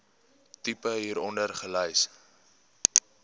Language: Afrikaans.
tipe hieronder gelys